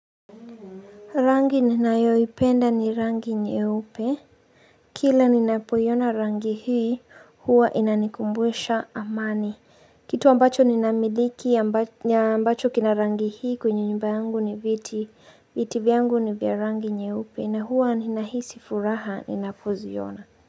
Rangi ninayoipenda ni rangi nyeupe. Kila ninapoiona rangi hii, huwa inanikumbusha amani. Kitu ambacho ni namiliki ya na ambacho kina rangi hii kwenye nyumba yangu ni viti. Viti vyangu ni vya rangi nye upe na huwa ni nahisi furaha ni napoziona.